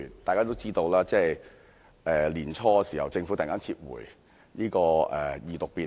眾所周知，年初時政府突然撤回《條例草案》的二讀。